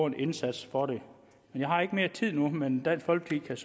en indsats for det jeg har ikke mere tid nu men dansk folkeparti